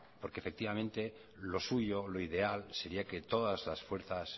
porque efectivamente lo suyo lo ideal sería que todas las fuerzas